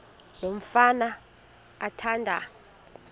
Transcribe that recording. lo mfana athanda